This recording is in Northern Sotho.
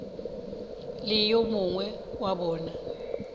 le yo mongwe wa bona